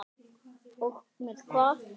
Og með hvað?